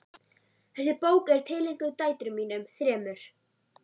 Þessi bók er tileinkuð dætrum mínum þremur.